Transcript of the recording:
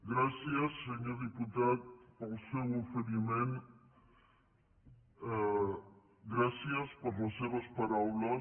gràcies senyor diputat pel seu oferiment gràcies per les seves paraules